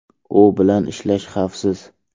U bilan ishlash xavfsiz.